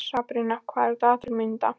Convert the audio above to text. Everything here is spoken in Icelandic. Sabrína, hvað er í dagatalinu mínu í dag?